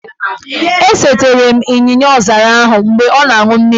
E setere m ịnyịnyaọzara ahụ mgbe ọ na-an̄ụ mmiri